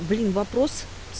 блин вопрос с